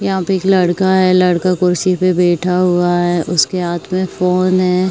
यहाँ पे एक लड़का है लड़का कुर्सी पे बैठा हुआ है उसके हाथ में फ़ोन है।